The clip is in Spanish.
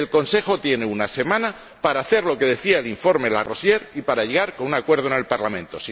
El Consejo tiene una semana para hacer lo que decía el informe Larosière y para llegar con un acuerdo al Parlamento